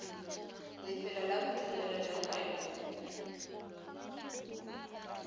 lefelo la bodirelo le kgwebo